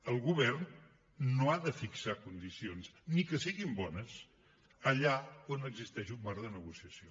el govern no ha de fixar condicions ni que siguin bones allà on existeix un marc de negociació